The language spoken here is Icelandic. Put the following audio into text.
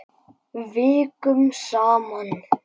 Vikum saman.